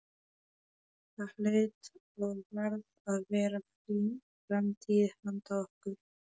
Það hlaut og varð að vera framtíð handa okkur.